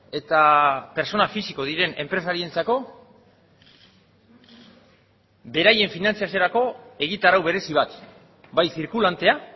eta pertsona fisiko diren enpresarientzako beraien finantzaziorako egitarau berezi bat bai zirkulantea